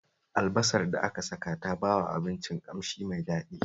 Albasar da aka saka ta bawa abincin ƙamshi mai daɗi